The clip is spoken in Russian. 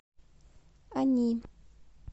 они